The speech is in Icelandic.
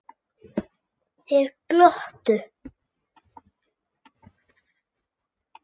Þeir glottu.